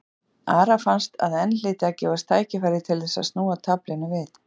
Ara fannst að enn hlyti að gefast tækifæri til þess að snúa taflinu við.